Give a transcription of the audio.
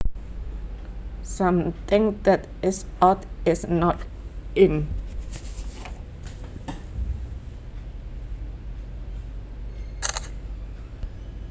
Something that is out is not in